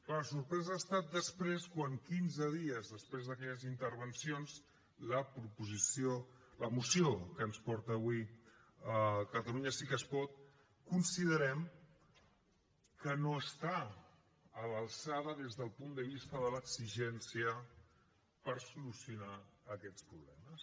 clar la sorpresa ha estat després quan quinze dies després d’aquelles intervencions la moció que ens porta avui catalunya sí que es pot considerem que no està a l’alçada des del punt de vista de l’exigència per solucionar aquests problemes